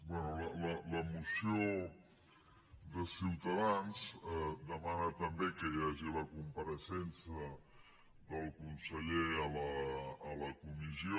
bé la moció de ciutadans demana també que hi hagi la compareixença del conseller a la comissió